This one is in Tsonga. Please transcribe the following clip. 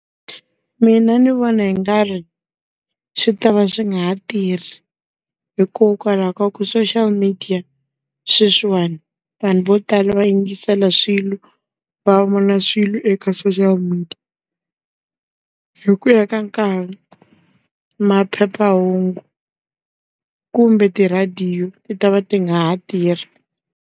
Mina ndzi vona hi nga ri, swi ta va swi nga ha tirhi. Hikokwalaho ka ku social media sweswiwani, vanhu vo tala va yingisela swilo, va vona swilo eka social media. Hi ku ya ka nkarhi, maphephahungu kumbe ti rhadiyo ti ta va ti nga ha tirhi.